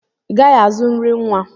I gaghị azụ nri nwa!